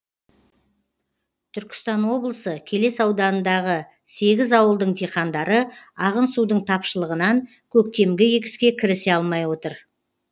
түркістан облысы келес ауданындағы сегіз ауылдың диқандары ағын судың тапшылығынан көктемгі егіске кірісе алмай отыр